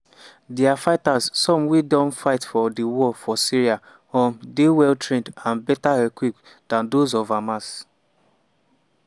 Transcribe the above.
dia fighters some of wey don fight for di war for syria um dey well trained and better equipped dan those of hamas.